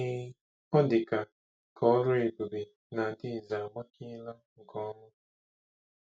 Ee, ọ dị ka ka ọrụ ebube na Adaeze agbakeela nke ọma.